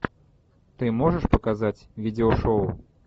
ты можешь показать видеошоу